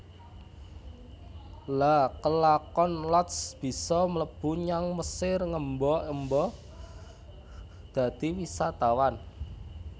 Lha kelakon Lotz bisa mlebu nyang Mesir ngemba emba dadi wisatawan